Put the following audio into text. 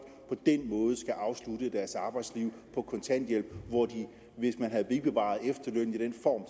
på den måde skal afslutte deres arbejdsliv på kontanthjælp hvor de hvis man havde bevaret efterlønnen i den form